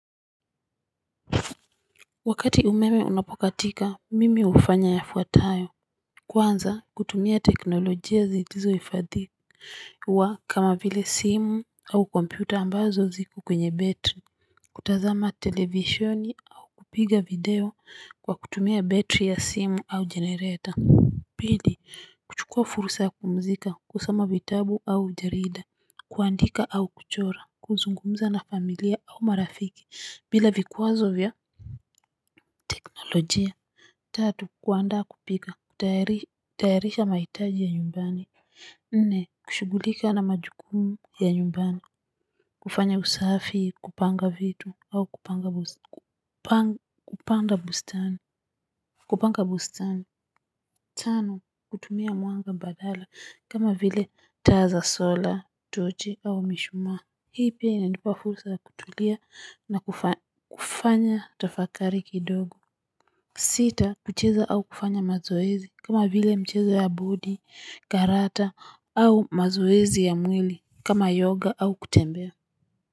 Wakati umeme unapokatika mimi hufanya yafuatayo kwanza kutumia teknolojia zilizo hifadhi uwa kama vile simu au kompyuta ambazo ziko kwenye battery kutazama televisheni au kupiga video kwa kutumia battery ya simu au generator pili kuchukua fursa ya kupumzika kusoma vitabu au jarida kuandika au kuchora kuzungumza na familia au marafiki bila vikwazo vya nolojia, tatu kuandaa kupika, kutayarisha mahitaji ya nyumbani, nne kushughulika na majukumu ya nyumbani, kufanya usafi kupanga vitu au kupanga bustani, kupanga bustani, tano kutumia mwanga badala kama vile taa za solar, tochi au mishuma, hii pia inanipa fursa ya kutulia na kufanya tafakari kidogo, sita kucheza au kufanya mazoezi, kama vile mchezo ya bodi karata au mazoezi ya mwili kama yoga au kutembea.